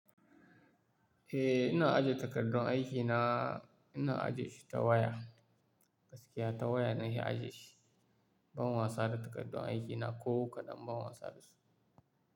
Eh, ina ajiye takardun aikina, ina ajiye shi ta waya, gaskiya ta waya ne ina ajiye shi. Ban wasa da takardun aikina ko kaɗan ban wasa da su.